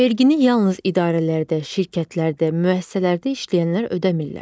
Vergini yalnız idarələrdə, şirkətlərdə, müəssisələrdə işləyənlər ödəmillər.